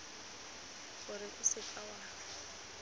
gore o seka w a